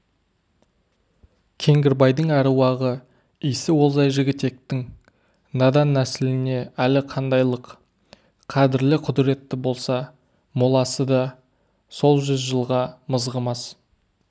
кеңгірбайдың әруағы исі олжай жігітектің надан нәсіліне әлі қандайлық қадірлі құдіретті болса моласы да сол жүз жылғы мызғымас